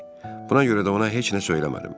Buna görə də ona heç nə söyləmədim.